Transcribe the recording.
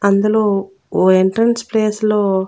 అందులో ఓ entrance place లో --